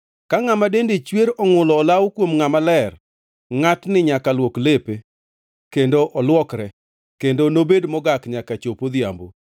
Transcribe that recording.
“ ‘Ka ngʼama dende chwer ongʼulo olawo kuom ngʼama ler, ngʼatni nyaka luok lepe kendo olwokre, kendo nobed mogak nyaka chop odhiambo.